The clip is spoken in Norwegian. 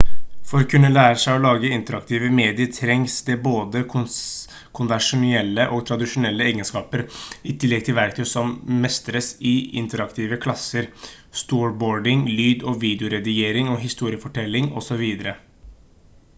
for å kunne lære seg å lage interaktive medier trengs det både konvensjonelle og tradisjonelle egenskaper i tillegg til verktøy som mestres i interaktive klasser storyboarding lyd- og videoredigering historiefortelling osv.